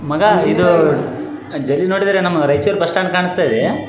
ಮಗ ಇದು Raichur bus stand ಕಾಣಿಸ್ತಾಇದೆ .